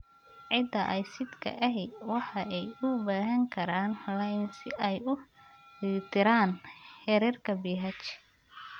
Ciida aysidhka ahi waxa ay u baahan karaan lime si ay u dheelitiraan heerarka pH.